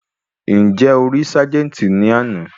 Ǹjẹ́ o rí ságẹ́ńtì ní àná?